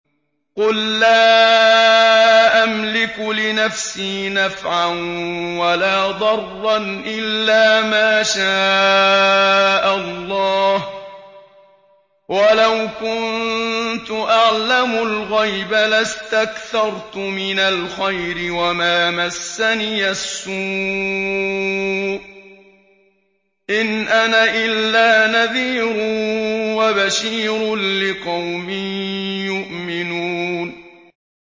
قُل لَّا أَمْلِكُ لِنَفْسِي نَفْعًا وَلَا ضَرًّا إِلَّا مَا شَاءَ اللَّهُ ۚ وَلَوْ كُنتُ أَعْلَمُ الْغَيْبَ لَاسْتَكْثَرْتُ مِنَ الْخَيْرِ وَمَا مَسَّنِيَ السُّوءُ ۚ إِنْ أَنَا إِلَّا نَذِيرٌ وَبَشِيرٌ لِّقَوْمٍ يُؤْمِنُونَ